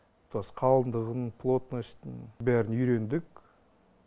тұтас қалыңдығын плотностін бәрін үйрендік